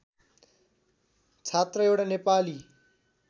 छात्र एउटा नेपाली